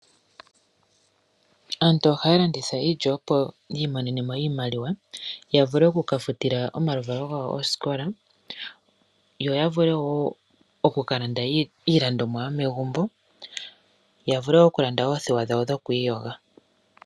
Aantu ohaya landitha iilya opo yi imonenemo iimaliwa yavule okuka futila omaluvalo gawo oosikola, yo yavule wo oku kalanda iilandomwa yomegumbo, yavule okulanda oothewa dhawo dhokwiiyoga.